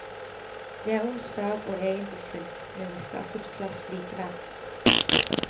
Det er onsdag og egentlig fullt, men vi skaffes plass likevel.